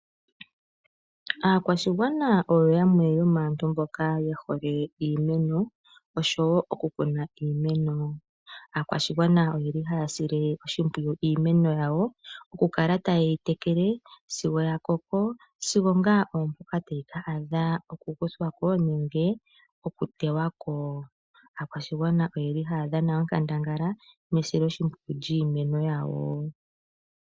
Aakwashigwana oyo yamwe yomaantu mboka ye hole iimeno oshowo okukuna iimeno. Aakwashigwana ohaya sile iimeno yawo oshimpwiyu, okukala taye yi tekele sigo ya koko, sigo ngaa oompoka tayi ka adha okukuthwa ko nenge okuteywa ko. Aakwashigwana ohaya dhana onkandangala mesiloshimpwiyu lyiimeno yawo.